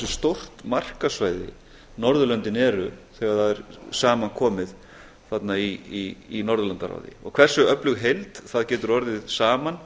stórt markaðssvæði norðurlöndin eru þegar það er saman komið þarna í norðurlandaráði og eru öflug heild það getur orðið saman